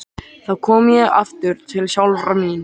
Þá kom ég aftur til sjálfrar mín.